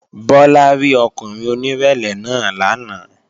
Bọ́lá rí ọkùnrin onírẹ̀lẹ̀ náà lánàá